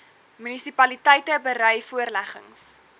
munisipaliteite berei voorleggings